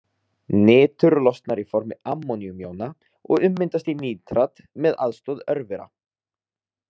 Nitur losnar í formi ammóníumjóna og ummyndast í nítrat með aðstoð örvera.